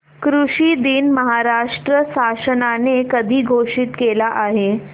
कृषि दिन महाराष्ट्र शासनाने कधी घोषित केला आहे